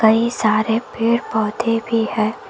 कई सारे पेड़ पौधे भी है।